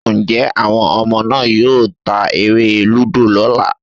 Njẹ́ àwọn ọmọ náà yóò ta eré-lúdò lọ́ la?